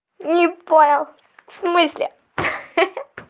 не понял в смысле ха-ха